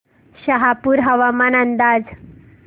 शहापूर हवामान अंदाज